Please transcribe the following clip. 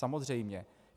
Samozřejmě.